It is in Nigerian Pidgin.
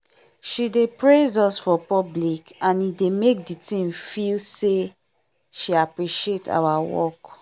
she dey praise us for public and e dey make the team feel say she appreciate our work